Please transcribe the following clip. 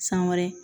San wɛrɛ